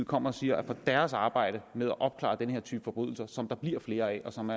kommer og siger at for deres arbejde med at opklare den her type forbrydelser som der bliver flere af og som